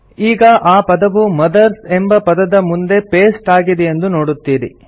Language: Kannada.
ಈಗ ಆ ಪದವು ಮದರ್ಸ್ ಎಂಬ ಪದದ ಮುಂದೆ ಪೇಸ್ಟ್ ಆಗಿದೆಯೆಂದು ನೋಡುತ್ತೀರಿ